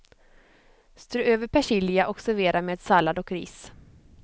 Strö över persilja och servera med sallad och ris.